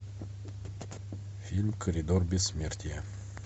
фильм коридор бессмертия